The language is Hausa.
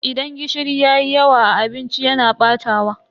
Idan gishiri yayi yawa a abinci yana batawa.